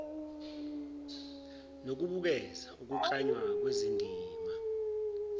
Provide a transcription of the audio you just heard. nokubukeza ukuklanywa kwezindima